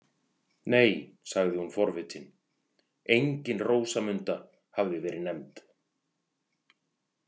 Nei, sagði hún forvitin, engin Rósamunda hafði verið nefnd.